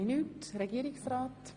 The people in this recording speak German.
– Dies ist nicht der Fall.